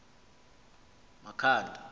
makhanda